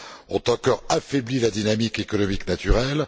ont encore affaibli la dynamique économique naturelle.